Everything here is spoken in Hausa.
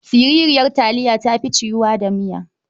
Siriryar aliya ta fi ciwuwa da miya.